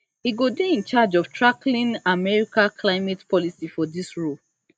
e go dey in charge of tackling america climate policy for dis role